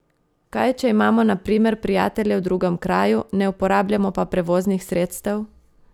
Kaj če imamo na primer prijatelje v drugem kraju, ne uporabljamo pa prevoznih sredstev?